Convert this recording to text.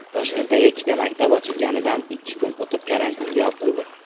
Toshkentdagi ikkita maktab ochilganidan ikki kun o‘tib karantinga yopildi.